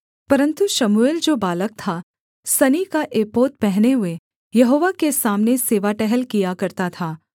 परन्तु शमूएल जो बालक था सनी का एपोद पहने हुए यहोवा के सामने सेवा टहल किया करता था